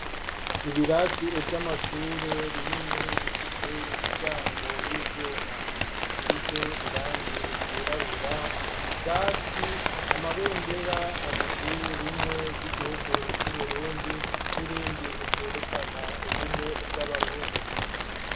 Ibirasi vy'amashure binini bifise imiryango y'ivyuma isize irangi ryirabura, ubwatsi ,ama bendera abiri rimwe ry'igihugu c'uburundi n'irindi ryerekana ubumwe bw'abarundi.